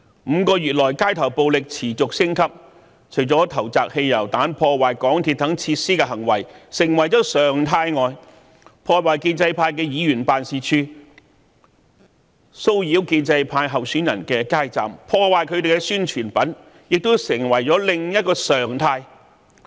5個月以來，街頭暴力持續升級，除了投擲汽油彈、破壞港鐵等設施的行為成為常態外，破壞建制派議員辦事處、騷擾建制派候選人的街站、破壞他們的宣傳品，亦成為另一常態。